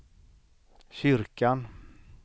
kyrkan